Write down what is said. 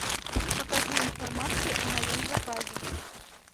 покажи информацию о моем заказе